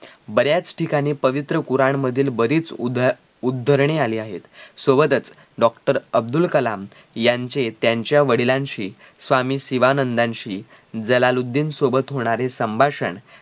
बऱ्याच ठिकाणी पवित्र कुराण मधील बरीच उधं उद्धरणे आली आहेत. सोबतच doctor अब्दुल कलाम यांचे त्यांच्या वडिलांचे स्वामी शिवानंदांशी जलालुद्दीन सोबत होणारे संभाषण